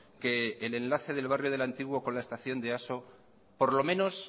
que el enlace del barrio de el antiguo con la estación de easo por lo menos